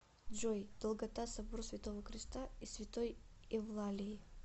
джой долгота собор святого креста и святой евлалии